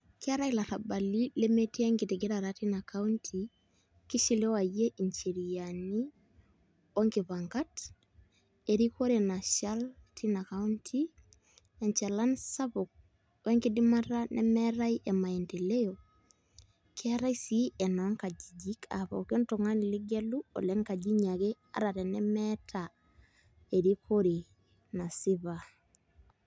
Keetai ilarrabali lemetii enkitigirata tina county kishiliwaie ncheriani onkipangat erikore nashal tina county enchalan sapuk o enkidimata nemeetai e maendeleo keetai sii enoonkajijik aa pookin tung'ani ligelu ole nkajinyi ake ata tenemeeta erikore nasipa.